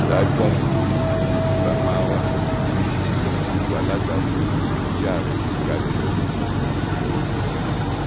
ṣáájú àsìkò yìí ni buba marwa ti di ipò alága fún ìgbìmọ tí ààrẹ gbé kalẹ lórí àṣìlò ogun mú